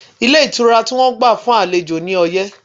Ilé ìtura tí wọ́n gbà fún àlejò ní ọyẹ́